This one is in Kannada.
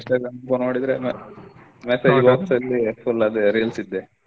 Instagram ದು ನೋಡಿದ್ರೆ message box ಲ್ಲಿ full ಅದೆ reels ದ್ದೆ.